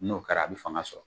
N'o kɛra a bɛ fanga sɔrɔ